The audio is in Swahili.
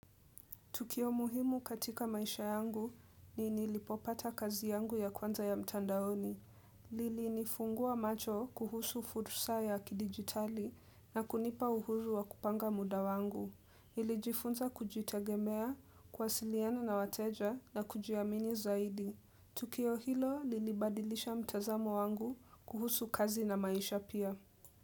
Tukio muhimu katika maisha yangu ni nilipopata kazi yangu ya kwanza ya mtandaoni. Lili nifungua macho kuhusu fursa ya kidigitali na kunipa uhuru wa kupanga muda wangu. Nilijifunza kujitegemea, kuasiliana na wateja na kujiamini zaidi. Tukio hilo lilibadilisha mtazamo wangu kuhusu kazi na maisha pia.